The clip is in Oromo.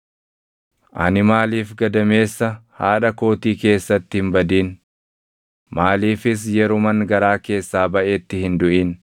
“Ani maaliif gadameessa haadha kootii keessatti hin badin? Maaliifis yeruman garaa keessaa baʼetti hin duʼin?